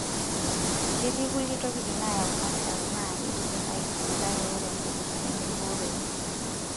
Ketii nkulie tokitin naayau kansa naaa keidimi aibooi, kake ore nkumok nemeibooroyu.